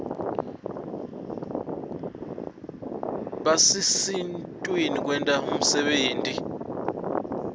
basisitn kwenta umsebenti